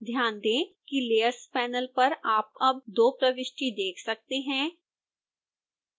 ध्यान दें कि layers panel पर आप अब 2 प्रविष्टि देख सकते हैं